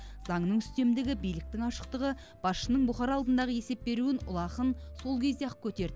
заңның үстемдігі биліктің ашықтығы басшының бұқара алдындағы есеп беруін ұлы ақын сол кезде ақ көтерді